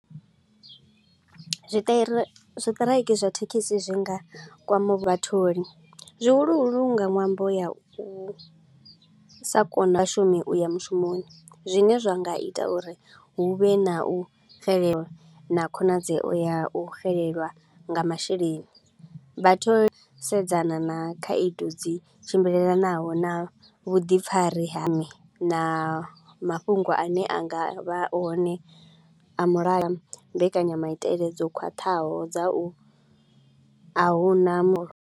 Zwi tirai zwi tiraiki zwa thekhisi zwi nga kwama vhatholi, zwihuluhulu nga ṅwambo ya u sa kona vhashumi u ya mushumoni. Zwine zwa nga ita uri hu vhe na u bvelela na khonadzeo ya u xelelwa nga masheleni. Vha sedzana na khaedu dzi tshimbilelanaho na vhuḓipfari ha na mafhungo a ne a nga vha hone a mulayo a mbekanyamaitele dzo khwaṱhaho dza u a hu na mu.